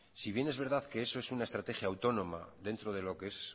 si bien es verdad que eso es una estrategia autónoma dentro de lo que es